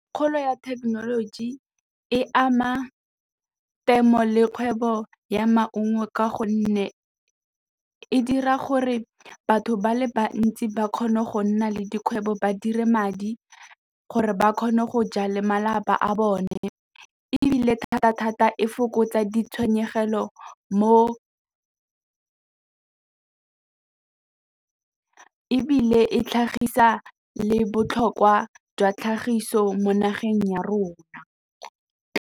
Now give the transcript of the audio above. Kgolo ya thekenoloji e ama temo le kgwebo ya maungo ka gonne e dira gore batho ba le bantsi ba kgone go nna le dikgwebo, ba dire madi gore ba kgone go jale malapa a bone ebile thata thata e fokotsa ditshenyegelo mo ebile e tlhagisa le botlhokwa jwa tlhagiso mo nageng ya rona.